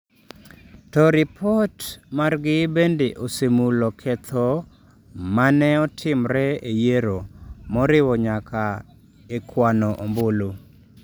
To ripot margi bende osemulo ketho ma ne otimre e yiero, moriwo nyaka e kwano ombulu.